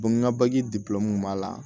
Bɔn n ka bagi b'a la